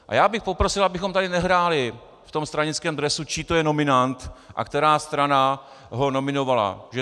A já bych poprosil, abychom tady nehráli v tom stranickém dresu, čí to je nominant a která strana ho nominovala.